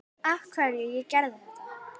Af hverju ég gerði þetta.